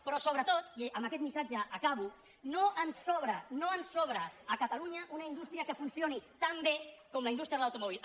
però sobretot i amb aquest missatge acabo no ens sobra no ens sobra a catalunya una indústria que funcioni tan bé com la indústria de l’automòbil